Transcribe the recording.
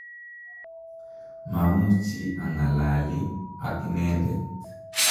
mamuchi ang'alali ak inendet